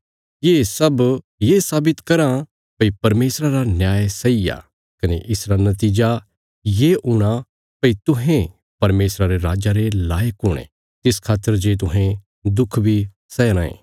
ये सब ये साबित कराँ भई परमेशरा रा न्याय सही आ कने इसरा नतीजा ये हूणा भई तुहें परमेशरा रे राज्जा रे लायक हुणे तिस खातर जे तुहें दुख बी सैया राँये